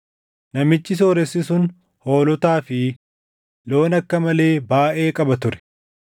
Namichi sooressi sun hoolotaa fi loon akka malee baayʼee qaba ture;